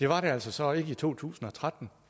var det altså så ikke i to tusind og tretten